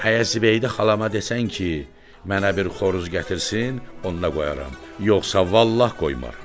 Hə Zibeydə xalama desən ki, mənə bir xoruz gətirsin, onda qoyaram, yoxsa vallah qoymaram.